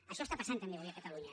això està passant també avui a catalunya